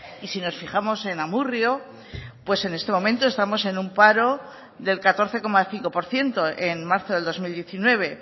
y si nos fijamos en amurrio pues en este momento estamos en un paro del catorce coma cinco por ciento en marzo del dos mil diecinueve